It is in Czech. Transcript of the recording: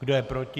Kdo je proti?